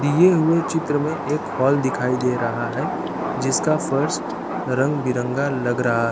दिए हुए चित्र में एक हॉल दिखाई दे रहा है जिसका फर्श रंग बिरंगा लग रहा--